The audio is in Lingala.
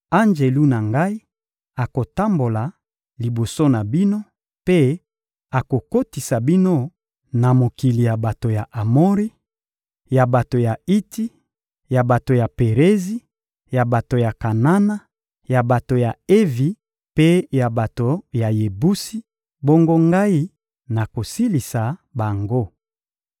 Anjelu na Ngai akotambola liboso na bino mpe akokotisa bino na mokili ya bato ya Amori, ya bato ya Iti, ya bato ya Perizi, ya bato ya Kanana, ya bato ya Evi mpe ya bato ya Yebusi; bongo Ngai nakosilisa bango.